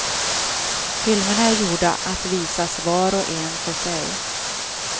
Filmerna är gjorda att visas var och en för sig.